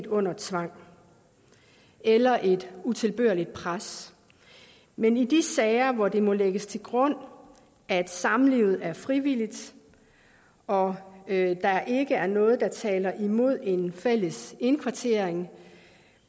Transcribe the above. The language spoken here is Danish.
under tvang eller et utilbørligt pres men i de sager hvor det må lægges til grund at samlivet er frivilligt og at der ikke er noget der taler imod en fælles indkvartering